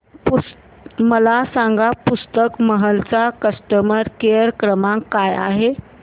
मला सांगा पुस्तक महल चा कस्टमर केअर क्रमांक काय आहे